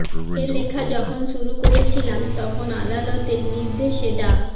এ লেখা যখন শুরু করেছিলাম তখন আদালতের নির্দেশে ডা